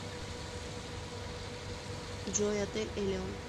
джой отель элион